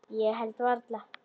Ég held varla.